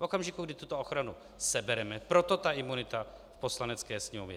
V okamžiku, kdy tuto ochranu sebereme - proto ta imunita v Poslanecké sněmovně.